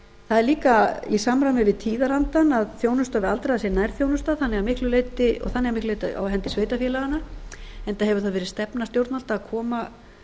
það er líka í samræmi við tíðarandann að þjónusta við aldraða sé nærþjónusta og þannig að miklu leyti á hendi sveitarfélaganna ára hefur það verið stefna stjórnvalda að koma